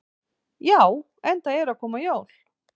Já, enda eru að koma jól.